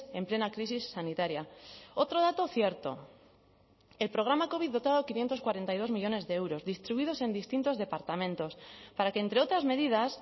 en plena crisis sanitaria otro dato cierto el programa covid dotado quinientos cuarenta y dos millónes de euros distribuidos en distintos departamentos para que entre otras medidas